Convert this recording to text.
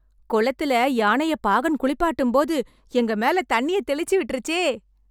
குளத்துல யானையை பாகன் குளிப்பாட்டும்போது, எங்க மேல தண்ணிய தெளிச்சுவிட்ருச்சே..